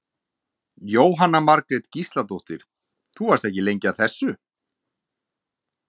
Jóhanna Margrét Gísladóttir: Þú varst ekki lengi að þessu?